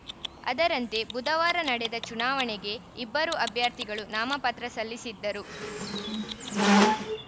ಅದರಂತೆ ಬುಧವಾರ ನಡೆದ ಚುನಾವಣೆಗೆ ಇಬ್ಬರು ಅಭ್ಯರ್ಥಿಗಳು ನಾಮಪತ್ರ ಸಲ್ಲಿಸಿದ್ದರು